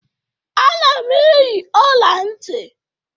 Ana m eyi ọla ntị.